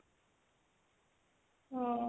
ହଁ